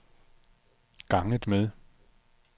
ganget med